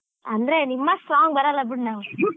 ಹಾ ಅಂದ್ರೆ ನಿಮ್ ಅಷ್ಟ್ strong ಬರಲ್ಲ ಬಿಡು ನಾವ್ .